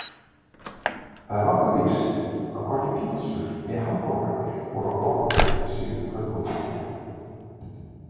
Það er nokkuð víst að hvorki pitsur né hamborgarar voru á borðum í síðustu kvöldmáltíðinni.